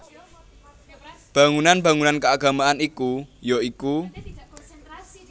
Bangunan bangunan keagamaan iku ya iku